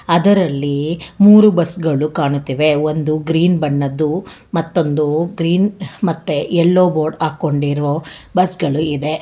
ಅದರಲ್ಲಿ ಮೂರು ಬಸ್ ಗಳು ಕಾಣುತ್ತಿವೆ ಒಂದು ಗ್ರೀನ್ ಬಣ್ಣದ್ದು ಮತ್ತೊಂದು ಗ್ರೀನ್ ಮತ್ತೆ ಯಲ್ಲೋ ಬೋರ್ಡ್ ಹಾಕೊಂಡಿರೋ ಬಸ್ ಗಳು ಇದೆ.